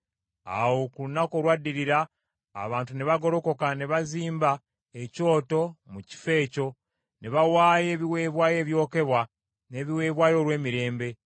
Awo ku lunaku olwaddirira, abantu ne bagolokoka ne bazimba ekyoto mu kifo ekyo, ne bawaayo ebiweebwayo ebyokebwa n’ebiweebwayo olw’emirembe.